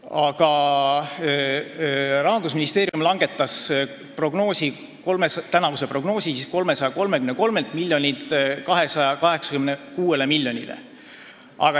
Aga jah, Rahandusministeerium langetas tänavust prognoosi 333 miljonilt 286 miljonile.